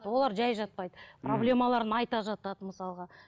олар жай жатпайды проблемаларын айта жатады мысалға